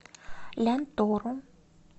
лянтору